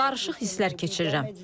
Qarışıq hisslər keçirirəm.